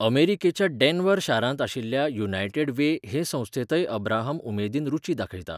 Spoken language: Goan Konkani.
अमेरिकेच्या डॅन्व्हर शारांत आशिल्ल्या युनायटेड वे हे संस्थेंतय अब्राहम उमेदीन रूची दाखयता.